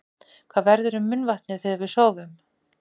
Hvað verður um munnvatnið þegar við sofum?